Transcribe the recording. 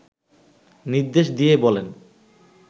নির্দেশ দিয়ে বলেন